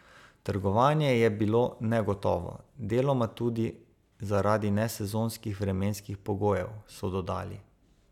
Trgovanje je bilo negotovo, deloma tudi zaradi nesezonskih vremenskih pogojev, so dodali.